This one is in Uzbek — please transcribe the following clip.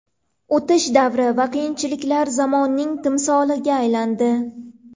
O‘tish davri va qiyinchiliklar zamonining timsoliga aylandi.